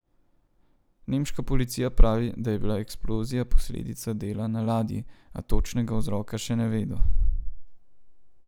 Nemška policija pravi, da je bila eksplozija posledica dela na ladji, a točnega vzroka še ne vedo.